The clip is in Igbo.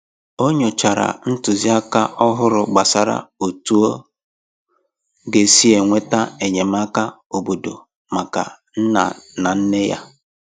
Ọ nyochàrà ntụziaka òhùrù gbasàrà otú ọ ga-esi enweta enyémàkà óbọ̀dò maka nna na nne ya.